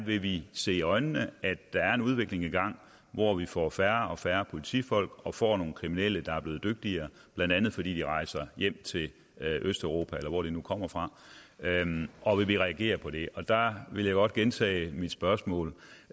vil vi se i øjnene at der er en udvikling i gang hvor vi får færre og færre politifolk og får nogle kriminelle der er blevet dygtigere blandt andet fordi de rejser hjem til østeuropa eller hvor de nu kommer fra og vil vi reagere på det og der vil jeg godt gentage mit spørgsmål